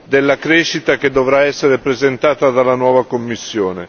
della crescita che dovrà essere presentata dalla nuova Commissione.